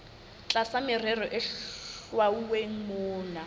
tlasa merero e hlwauweng mona